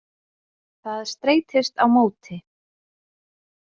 Það streitist á móti.